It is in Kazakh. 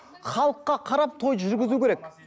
халыққа қарап тойды жүргізу керек